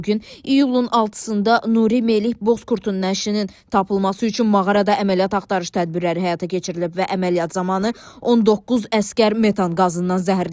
Bu gün iyunun 6-da Nuri Melih Bozkurdun nəşinin tapılması üçün mağarada əməliyyat axtarış tədbirləri həyata keçirilib və əməliyyat zamanı 19 əsgər metan qazından zəhərlənib.